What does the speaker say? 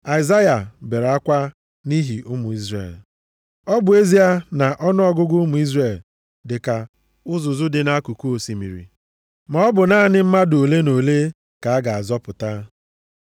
Aịzaya bere akwa nʼihi ụmụ Izrel, “Ọ bụ ezie na ọnụọgụgụ ụmụ Izrel dịka uzuzu dị nʼakụkụ osimiri, maọbụ naanị mmadụ ole na ole ka a ga-azọpụta.